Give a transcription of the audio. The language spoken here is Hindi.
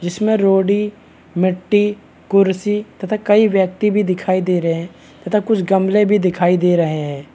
इसमें रोड़ी मिट्टी कुर्सी तथा कई व्यक्ति भी दिखाई दे रहे है तथा कुछ गमले भी दिखाई दे रहे हैं ।